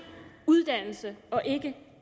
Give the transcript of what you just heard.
uddannelse og ikke